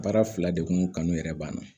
Baara fila de kun kanu yɛrɛ banna